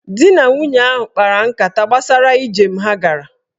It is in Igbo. Dị na nwunye ahụ kpara nkata gbasara ijem ha gara.